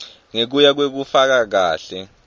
ngekuya ngekufaka kahle